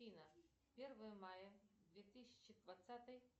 афина первое мая две тысячи двадцатый